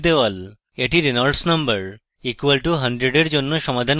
এটি reynolds no re = 100 এর জন্য সমাধান করছি